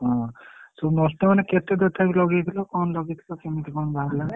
ହଁ ସବୁନଷ୍ଟ ମାନେ କେତେ ତଥାପି ଲଗେଇଥିଲୁ? କଣ ଲଗେଇଥିଲୁ କେମିତି କଣ ବାହାରିଲା?